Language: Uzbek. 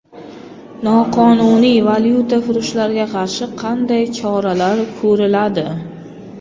Noqonuniy valyutafurushlarga qarshi qanday choralar ko‘riladi?